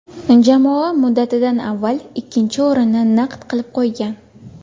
Jamoa muddatidan avval ikkinchi o‘rinni naqd qilib qo‘ygan.